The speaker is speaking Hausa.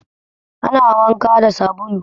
Ana wanka da sabulu